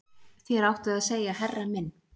Þér áttuð að segja herra minn